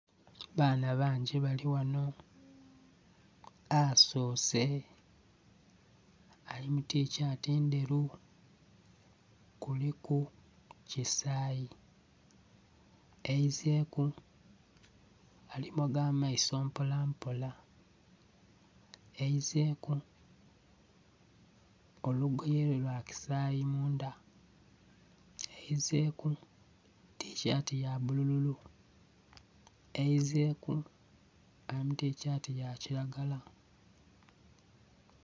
Abaana bangi bali ghano. Asoose ali mu tishati ndheru kuliku kisayi, aizeku alimoga amaiso mpolampola, aizeku olugoye lwe lwa kisayi mundha, aizeku tishati ya bulululu, aizeku ali mu tishati ya kilagala